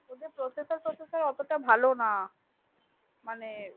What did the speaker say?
processor তোসেস্পর অটো ভালো না